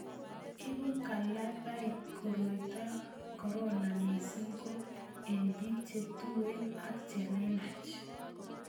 Ibu kalabait koroitab korona missing ko eng bik che tuen ak chelelach